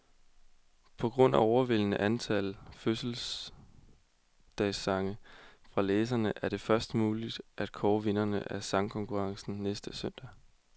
På grund af overvældende antal fødselsdagssange fra læserne, er det først muligt at kåre vinderne af sangkonkurrencen næste søndag.